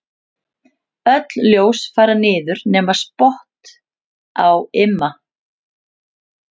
Öll ljós fara niður nema spott á Imma.